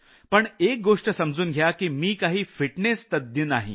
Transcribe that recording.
पण एक गोष्ट समजून घ्या की मी काही फिटनेस तज्ञ नाही